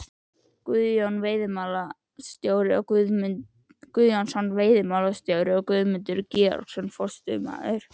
Guðjónsson veiðimálastjóri og Guðmundur Georgsson forstöðumaður